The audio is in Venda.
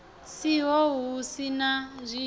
siho hu si na zwiitisi